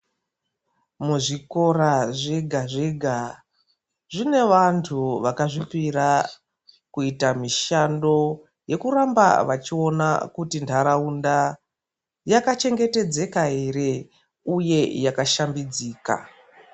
Muzvikora zvega zvega zvine vantu vakazvipira kuita mishando yekuramba vachiona kuti ndaraunda yakachengetedzeka here uye yakashambidzika.